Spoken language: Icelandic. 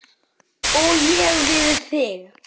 Og ég við þig.